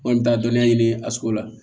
An kɔni bɛ taa dɔnniya ɲini a sugu la